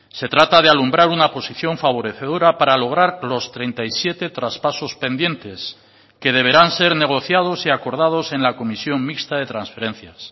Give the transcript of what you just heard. se trata de alumbrar una posición favorecedora para lograr los treinta y siete traspasos pendientes que deberán ser negociados y acordados en la comisión mixta de transferencias